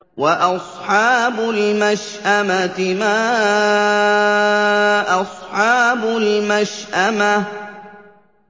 وَأَصْحَابُ الْمَشْأَمَةِ مَا أَصْحَابُ الْمَشْأَمَةِ